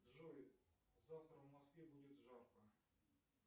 джой завтра в москве будет жарко